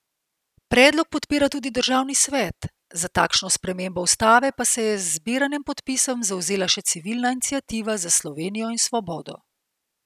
Predlog podpira tudi državni svet, za takšno spremembo ustave pa se je z zbiranjem podpisov zavzela še civilna iniciativa Za Slovenijo in svobodo.